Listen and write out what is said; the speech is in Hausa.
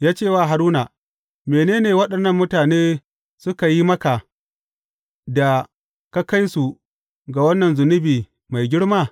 Ya ce wa Haruna, Mene ne waɗannan mutane suka yi maka da ka kai su ga wannan zunubi mai girma?